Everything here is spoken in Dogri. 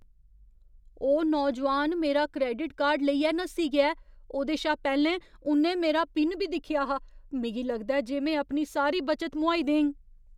ओह् नौजोआन मेरा क्रैडिट कार्ड लेइयै नस्सी गेआ ऐ। ओह्दे शा पैह्‌लें उ'न्नै मेरा पिन बी दिक्खेआ हा। मिगी लगदा ऐ जे में अपनी सारी बचत मोहाई देङ।